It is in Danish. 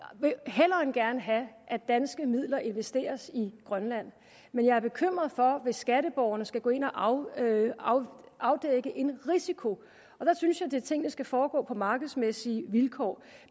vil hellere end gerne have at danske midler investeres i grønland men jeg er bekymret hvis skatteborgerne skal gå ind og afdække en risiko der synes jeg at tingene skal foregå på markedsmæssige vilkår